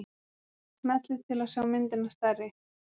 smellið til að sjá myndina stærri